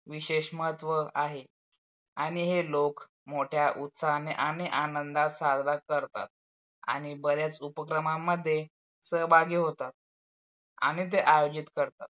विषेश महत्व आहे आणि हे लोक मोठ्या उत्साहाने आणि आनंदात साजरा करतात आणि बऱ्याच उपक्रमामध्ये सहभागी होतात आणि ते आयोजित करतात.